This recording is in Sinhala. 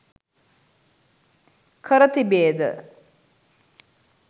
කර තිබේද?